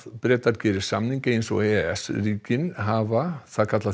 Bretar geri samning eins og e e s ríkin hafa það kalla